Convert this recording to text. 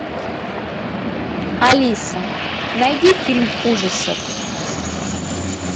алиса найди фильм ужасов